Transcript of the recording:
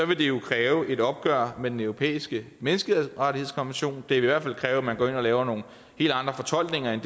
vil det jo kræve et opgør med den europæiske menneskerettighedskonvention det vil i hvert fald kræve at man går ind og laver nogle helt andre fortolkninger end